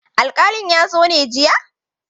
Alkalin ya zo ne jiya?